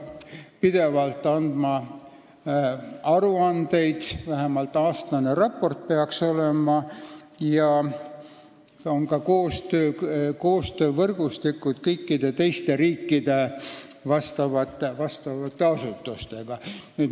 Pidevalt peab tegema aruandeid, vähemalt aastaraport peaks olema, ja on olemas ka koostöövõrgustikud kõikide teiste riikide vastavate asutustega.